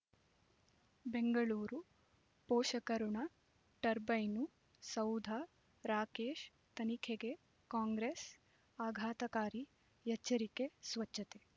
ಬೆಂಗಳೂರು ಪೋಷಕಋಣ ಟರ್ಬೈನು ಸೌಧ ರಾಕೇಶ್ ತನಿಖೆಗೆ ಕಾಂಗ್ರೆಸ್ ಆಘಾತಕಾರಿ ಎಚ್ಚರಿಕೆ ಸ್ವಚ್ಛತೆ